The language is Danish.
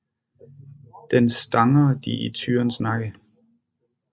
Den stanger de i tyrens nakke